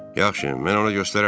Yaxşı, mən ona göstərərəm.